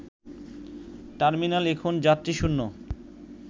terminal এখন যাত্রীশূন্য